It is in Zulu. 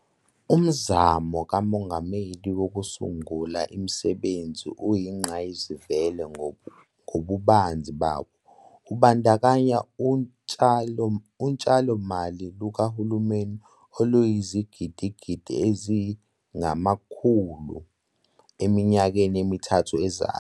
Umzamo kaMongameli Wokusungula Imisebenzi uyingqayizivele ngobubanzi bawo, ubandakanya utshalomali lukahulumeni oluyizigidigidi eziyi-R100 eminyakeni emithathu ezayo.